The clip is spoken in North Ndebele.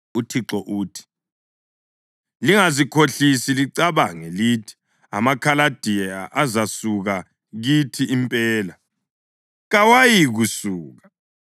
UThixo uthi: Lingazikhohlisi licabange lithi, ‘AmaKhaladiya azasuka kithi impela.’ Kawayikusuka!